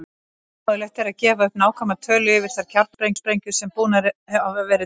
Ómögulegt er að gefa upp nákvæma tölu yfir þær kjarnorkusprengjur sem búnar hafa verið til.